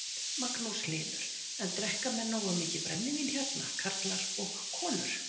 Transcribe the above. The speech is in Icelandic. Magnús Hlynur: En drekka menn nógu mikið brennivín hérna, karlar og konur?